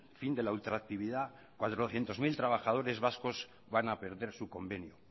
fin de la ultraactividad cuatrocientos mil trabajadores vascos van a perder su convenio